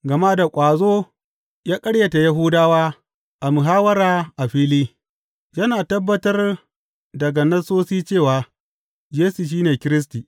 Gama da ƙwazo ya ƙaryata Yahudawa a muhawwara a fili, yana tabbatar daga Nassosi cewa Yesu shi ne Kiristi.